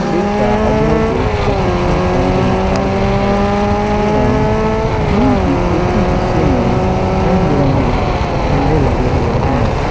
बिरसा औद्योगिक प्रशिक्षण केंद्र लिखा हुआ है एवं भवन की ऊपरी हिस्से में रंग बिरंगे झंडे लगे हुए हैं।